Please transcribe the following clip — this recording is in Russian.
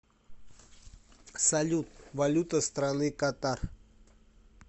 салют валюта страны катар